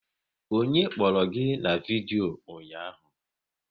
Onye kpọrọ gị na vidyo ụnyaahụ?